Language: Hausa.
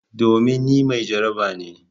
Domin ni mai jaraba ne.